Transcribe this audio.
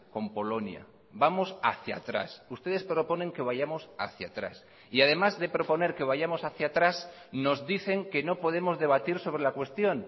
con polonia vamos hacía atrás ustedes proponen que vayamos hacia atrás y además de proponer que vayamos hacia atrás nos dicen que no podemos debatir sobre la cuestión